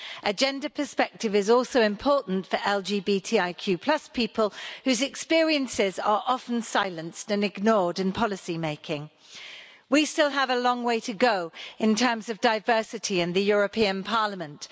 A gender perspective is also important for LGBTIQ people whose experiences are often silenced and ignored in policy making. We still have a long way to go in terms of diversity in the European Parliament.